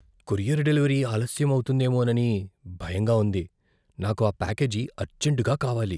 Courier delivery ఆలస్యం అవుతుందేమోనని భయంగా ఉంది, నాకు ఆ ప్యాకేజీ అర్జెంటుగా కావాలి.